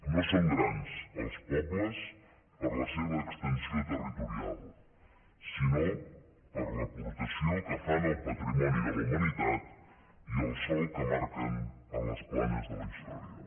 no són grans els pobles per la seva extensió territorial sinó per l’aportació que fan al patrimoni de la humanitat i el solc que marquen en les planes de la història